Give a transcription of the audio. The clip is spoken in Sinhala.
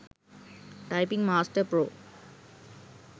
typing master pro